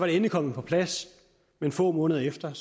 endelig kommet på plads men få måneder efter